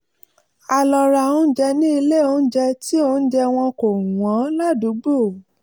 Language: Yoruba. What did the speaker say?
a lọ ra oúnjẹ ní ilé-oúnjẹ tí oúnjẹ wọn kò wọ́n ládùúgbò